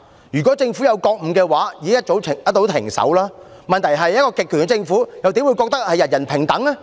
如果政府有覺悟，一早已經停手，問題是一個極權的政府，又怎會認為人人平等？